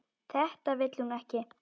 Þetta vill hún ekki.